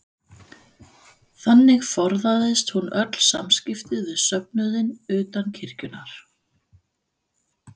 Þannig forðaðist hún öll samskipti við söfnuðinn utan kirkjunnar.